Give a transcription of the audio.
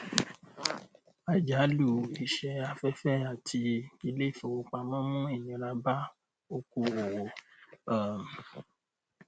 àjálù iṣẹ afẹfẹ àti iléifowopamọ mú ìnira bá oko owó um